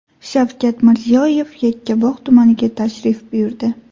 Shavkat Mirziyoyev Yakkabog‘ tumaniga tashrif buyurdi.